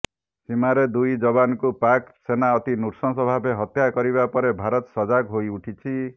ସୀମାରେ ଦୁଇ ଯବାନଙ୍କୁ ପାକ୍ ସେନା ଅତି ନୃଶଂସ ଭାବେ ହତ୍ୟା କରିବା ପରେ ଭାରତ ସଜାଗ୍ ହୋଇଉଠିଛି